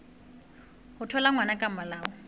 ho thola ngwana ka molao